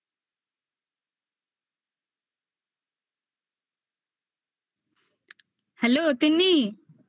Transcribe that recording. hello Tinni